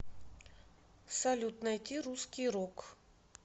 салют найти русский рок